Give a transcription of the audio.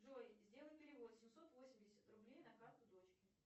джой сделай перевод семьсот восемьдесят рублей на карту дочке